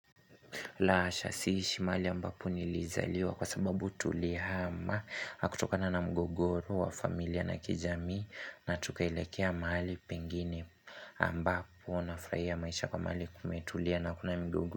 Lahasha siishi mahali ambapo nilizaliwa kwa sababu tulihama kutoka na mgogoro wa familia na kijamii na tukaelekea mahali pengine. Ambapo nafurahia maisha kwa mahali kumetulia na hakuna.